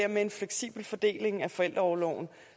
en fleksibel fordeling af forældreorloven